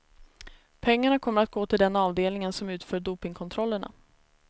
Pengarna kommer att gå till den avdelning som utför dopingkontrollerna.